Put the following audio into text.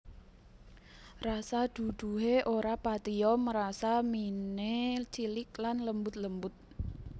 Rasa duduhe ora patiya mrasa mine cilik lan lembut lembut